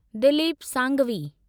Dilip Sanghvi